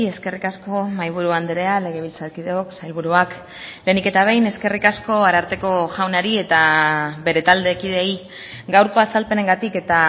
eskerrik asko mahaiburu andrea legebiltzarkideok sailburuak lehenik eta behin eskerrik asko ararteko jaunari eta bere taldekideei gaurko azalpenengatik eta